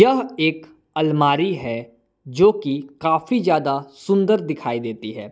यह एक अलमारी है जो की काफी ज्यादा सुंदर दिखाई देती है।